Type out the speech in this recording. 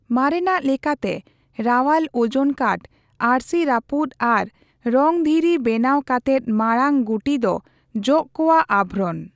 ᱢᱟᱨᱮᱱᱟᱜ ᱞᱮᱠᱟᱛᱮ ᱨᱟᱣᱟᱞ ᱳᱡᱚᱱ ᱠᱟᱴ, ᱟᱹᱨᱥᱤ ᱨᱟᱹᱯᱩᱫ ᱟᱨ ᱨᱚᱝ ᱫᱷᱤᱨᱤ ᱵᱮᱱᱟᱣ ᱠᱟᱛᱮᱫ ᱢᱟᱲᱟᱝ ᱜᱩᱴᱤ ᱫᱚ ᱡᱚᱜᱽ ᱠᱚᱣᱟᱜ ᱟᱵᱷᱚᱨᱚᱱ ᱾